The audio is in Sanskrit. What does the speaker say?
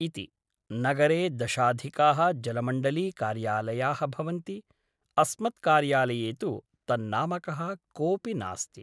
इति । नगरे दशाधिकाः जलमण्डलीकार्यालयाः भवन्ति । अस्मत्कार्यालये तु तन्नामकः कोऽपि नास्ति ।